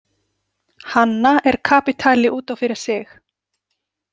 Hanna er kapítuli út af fyrir sig.